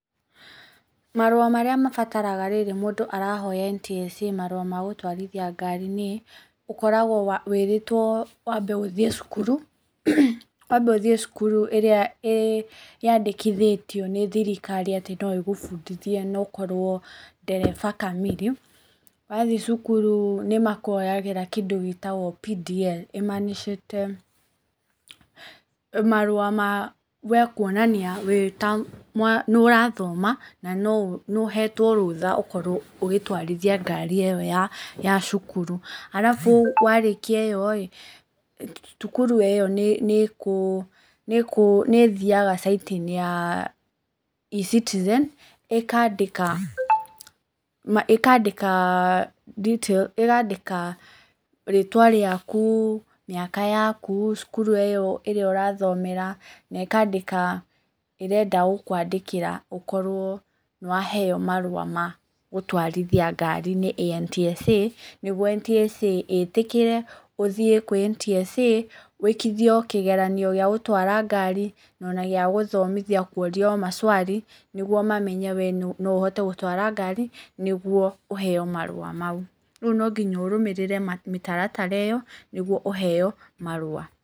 Marũa marĩa mabataraga rĩrĩa mũndũ arahoya NTSA marũa magũtwarithia ngari nĩ, ũkoragwo wĩrĩtwo wambe ũthiĩ cukuru, wambe ũthiĩ cukuru ĩrĩa ĩyandĩkithĩtio nĩ thirikari atĩ noĩgũbundithie na ũkorwo ndereba kamiri, wathiĩ thukuru nĩmakuoyagĩra kĩndũ gĩtagwo PDL, ĩmanicĩte marũa ma wee kũonania nĩurathoma, na nĩũhetwo rũtha ũkorwo ũgĩtwarithia ngari ĩyo ya, ya cukuru. Arabu warĩkia ĩyorĩ, cukuru ĩyo nĩ ĩthiaga caiti-inĩ ya Ecitizen, ĩkandĩka, ĩkandĩka detail ĩkandĩka rĩtwa rĩaku, mĩaka yaku, cukuru ĩyo ĩrĩa ũrathomera, na ĩkandĩka ĩrenda gũkwandĩkĩra ũkorwo nĩwaheo marũa magũtwarithia ngari nĩ NTSA, nĩguo NTSA ĩtĩkĩre ũthiĩ kũrĩ NTSA, wĩkithio kĩgeranio gĩagũtwara ngari, na ona gĩagũthomithio kũrio macwari, nĩguo mamenye wee noũhote gũtwara ngari, nĩguo ũheo marũa mau. Rĩu nonginya ũrũmĩrĩre mĩtaratara ĩyo, nĩguo ũheo marũa.